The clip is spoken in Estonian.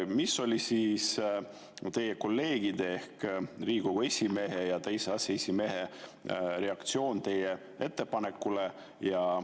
Mis oli teie kolleegide ehk Riigikogu esimehe ja teise aseesimehe reaktsioon teie ettepanekule?